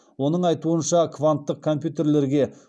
оның айтуынша кванттық компьютерлерге